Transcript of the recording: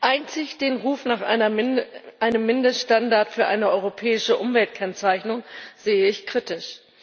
Einzig den Ruf nach einem Mindeststandard für eine europäische Umweltkennzeichnung sehe ich kritisch.